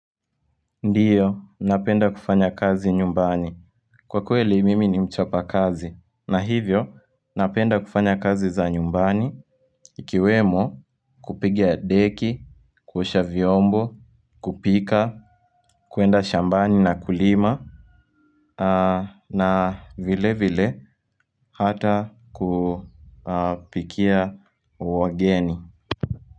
Ndiyo napenda kufanya kazi nyumbani kwa kweli mimi ni mchapa kazi na hivyo napenda kufanya kazi za nyumbani ikiwemo kupigia deki kuosha vyombo kupika kuenda shambani na kulima na vile vile hata kupikia wageni.